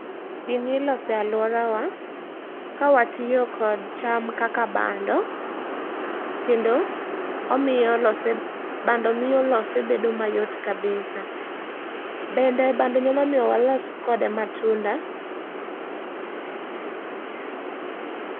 Gi ni ilose e aluorawa ka watiyo kodi cham kaka bando kendo omiyo lose bando miyo lose bedo mayot kabisa bende bando nyalo miyo walos kod matunda.